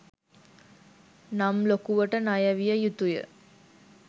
නම් ලොකුවට ණය විය යුතුය.